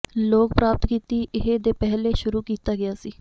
ਲੋਕ ਪ੍ਰਾਪਤ ਕੀਤੀ ਇਹ ਦੇ ਪਹਿਲੇ ਸ਼ੁਰੂ ਕੀਤਾ ਗਿਆ ਸੀ